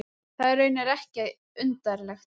Það er raunar ekki undarlegt.